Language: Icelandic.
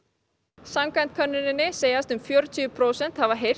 samkvæmt könnuninni segjast um fjörutíu prósent hafa heyrt